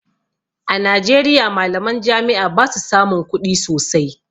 A Najeriya malaman jami'a basu samun kuɗi sosai